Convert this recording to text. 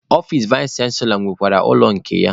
Ọfici vais chanselọ nwekwara ụlọ nke ya.